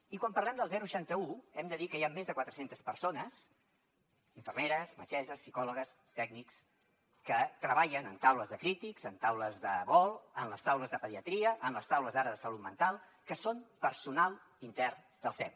i quan parlem del seixanta un hem de dir que hi ha més de quatre centes persones infermeres metgesses psicòlogues tècnics que treballen en taules de crítics en taules de vol en les taules de pediatria en les taules ara de salut mental que són personal intern del sem